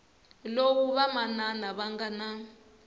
lowu vamanana va nga na